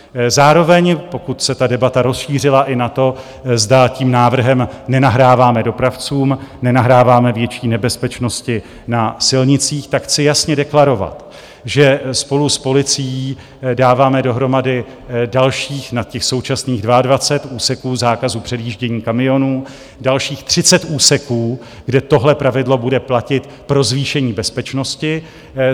Zároveň, pokud se ta debata rozšířila i na to, zda tím návrhem nenahráváme dopravcům, nenahráváme větší nebezpečnosti na silnicích, tak chci jasně deklarovat, že spolu s policií dáváme dohromady dalších - nad těch současných 22 úseků zákazu předjíždění kamionů - dalších 30 úseků, kde tohle pravidlo bude platit pro zvýšení bezpečnosti.